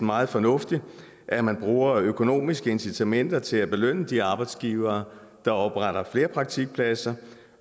meget fornuftigt at man bruger økonomiske incitamenter til at belønne de arbejdsgivere der opretter flere praktikpladser